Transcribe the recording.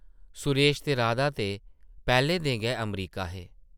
सुरेश ते राधा ते पैह्लें दे गै अमरीका हे ।